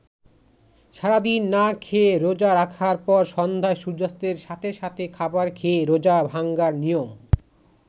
সারাদিন না খেয়ে রোজা রাখার পর সন্ধ্যায় সূর্যাস্তের সাথে সাথে খাবার খেয়ে রোজা ভাঙ্গার নিয়ম।